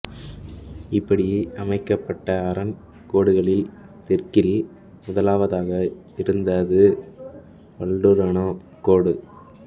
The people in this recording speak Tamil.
இப்படி அமைக்கப்பட்ட அரண் கோடுகளில் தெற்கில் முதலாவதாக இருந்தது வல்ட்டூர்னோ கோடு